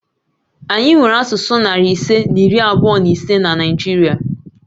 Anyị nwere asụsụ narị ise na iri abụọ na ise na Naịjirịa